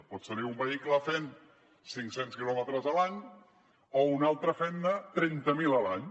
pots tenir un vehicle fent cinc cents quilòmetres a l’any o un altre fent ne trenta mil a l’any